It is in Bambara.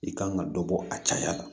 I kan ka dɔ bɔ a caya la